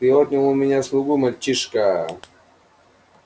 ты отнял у меня слугу мальчишка